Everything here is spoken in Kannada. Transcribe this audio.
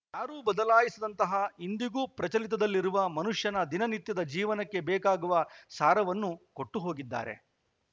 ಯಾರು ಬದಲಾಯಿಸದಂತಹ ಇಂದಿಗೂ ಪ್ರಚಲಿತದಲ್ಲಿರುವ ಮನುಷ್ಯನ ದಿನನಿತ್ಯದ ಜೀವನಕ್ಕೆ ಬೇಕಾಗುವ ಸಾರವನ್ನು ಕೊಟ್ಟುಹೊಗಿದ್ದಾರೆ